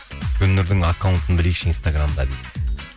гүлнұрдың аккаунтын білейікші инстаграмда дейді